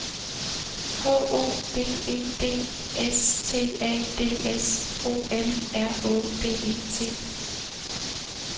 H O V E D S T A D S O M R Å D E T